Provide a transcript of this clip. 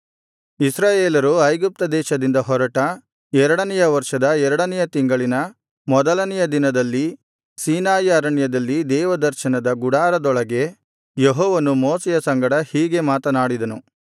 ಇಸ್ರಾಯೇಲರು ಐಗುಪ್ತ ದೇಶದಿಂದ ಹೊರಟ ಎರಡನೆಯ ವರ್ಷದ ಎರಡನೆಯ ತಿಂಗಳಿನ ಮೊದಲನೆಯ ದಿನದಲ್ಲಿ ಸೀನಾಯಿ ಅರಣ್ಯದಲ್ಲಿ ದೇವದರ್ಶನದ ಗುಡಾರದೊಳಗೆ ಯೆಹೋವನು ಮೋಶೆಯ ಸಂಗಡ ಹೀಗೆ ಮಾತನಾಡಿದನು